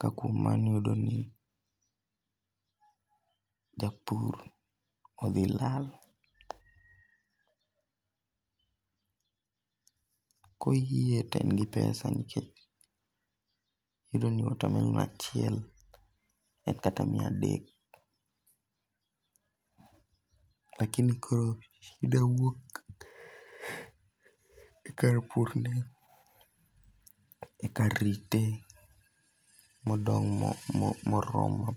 Ka kuom mano iyudo ni japur odhi lal. Koyie to en gi pesa nikech iyudo ni watermelon achiel en kata mia adek. Lakini koro shida wuok e kar pur ne e kar rite moromo.